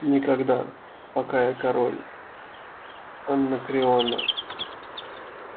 никогда пока я король анакреона